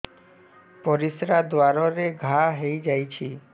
ପରିଶ୍ରା ଦ୍ୱାର ରେ ଘା ହେଇଯାଇଛି